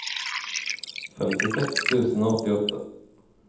femtiseks tusen og åttiåtte